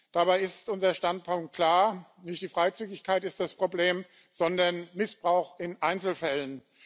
Dabei ist unser Standpunkt klar Nicht die Freizügigkeit ist das Problem, sondern Missbrauch in Einzelfällen.